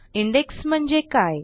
index म्हणजे काय